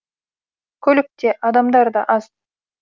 көлік те адамдар да аз